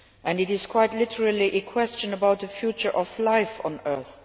It is quite literally a question about the future of life on Earth.